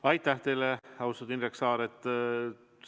Aitäh teile, austatud Indrek Saar!